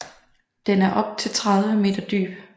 Den er op til 30 m dyb